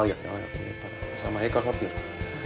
við sama heygarðshornið